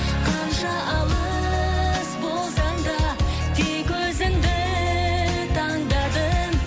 қанша алыс болсаң да тек өзіңді таңдадым